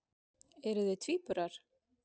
Eruð þið tvíburar?